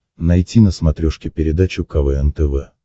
найти на смотрешке передачу квн тв